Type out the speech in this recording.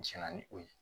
Jɛna ni o ye